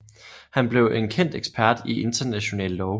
Han blev en kendt ekspert i international lov